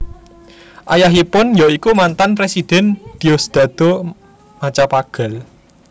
Ayahipun ya iku mantan Presiden Diosdado Macapagal